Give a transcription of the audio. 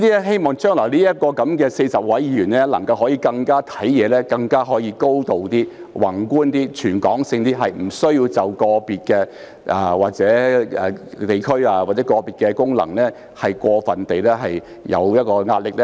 希望將來這40位議員考慮事情的時候，能夠更有高度、更加宏觀、更全港性，不需要對個別地區或功能界別過分照顧。